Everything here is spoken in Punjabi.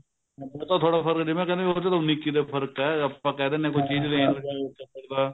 ਮਤਲਬ ਥੋੜਾ ਫ਼ਰਕ ਤੀ ਨਾ ਕਹਿੰਦੇ ਚਲੋ ਉੰਨੀ ਇੱਕੀ ਦਾ ਫ਼ਰਕ ਹੈ ਆਪਾਂ ਕਹਿ ਦਿੰਨੇ ਹਾਂ ਕੋਈ ਚੀਜ਼ ਲੈਣਾ